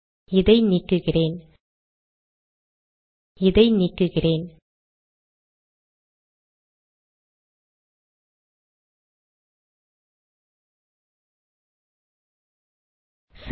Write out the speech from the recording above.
இதை நீக்குகிறேன் இதை நீக்குகிறேன் சரி